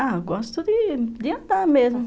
Ah, gosto de andar mesmo.